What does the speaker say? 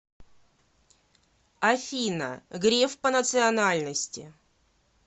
афина греф по национальности